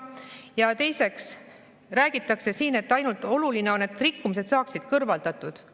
Ja teiseks, siin räägitakse, et oluline on ainult see, et rikkumised saaksid kõrvaldatud.